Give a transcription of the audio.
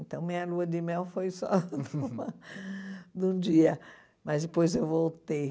Então, minha lua de mel foi só de um dia, mas depois eu voltei.